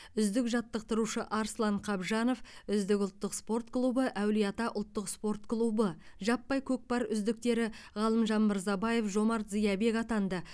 үздік жаттықтырушы арслан қабжанов үздік ұлттық спорт клубы әулие ата ұлттық спорт клубы жаппай көкпар үздіктері ғалымжан мырзабаев жомарт зиябек атанды